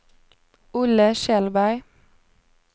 Olle Kjellberg